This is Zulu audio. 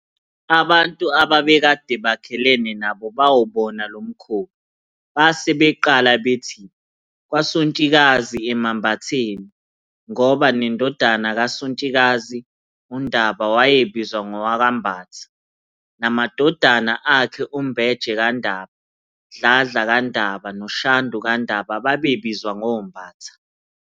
Abantu ababekade bakhelene nabo bawubona lomkhuba, base beqala bethi "kwaSontshikazi emambatheni". Ngoba nendodana kaSontshikazi, uNdaba, wayebizwa ngowakwaMbatha namadodana akhe uMbeje kaNdaba, Dladla kaNdaba noShandu kaNdaba babe bizwa ngoMbatha.